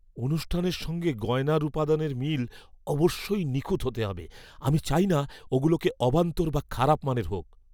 অনুষ্ঠানের সঙ্গে গয়নার উপাদানের মিল অবশ্যই নিখুঁত হতে হবে। আমি চাই না ওগুলোকে অবান্তর বা খারাপ মানের মনে হোক।